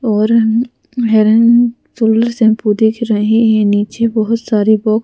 औरन हिरन सोलर शैंपू देख रहे हैं नीचे बहोत सारे बा--